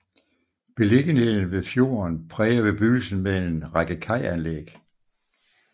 Beliggenheden ved fjorden præger bebyggelsen med en række kajanlæg